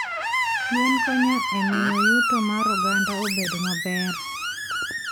Gwen konyo e miyo yuto mar oganda obed maber.